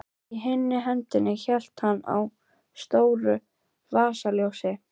Í hinni hendinni hélt hann á stóru vasaljósi.